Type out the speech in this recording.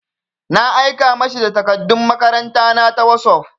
Na aika ma shi da takardun makaranta na ta wosof.